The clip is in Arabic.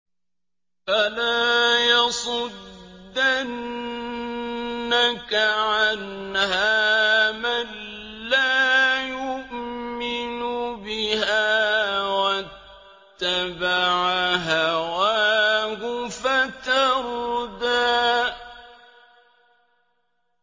فَلَا يَصُدَّنَّكَ عَنْهَا مَن لَّا يُؤْمِنُ بِهَا وَاتَّبَعَ هَوَاهُ فَتَرْدَىٰ